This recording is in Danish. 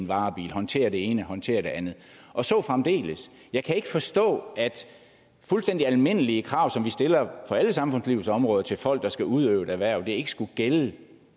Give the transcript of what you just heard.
varebil håndterer det ene håndterer det andet og så fremdeles jeg kan ikke forstå at fuldstændig almindelige krav som vi stiller på alle samfundslivets områder til folk der skal udøve et erhverv ikke skulle gælde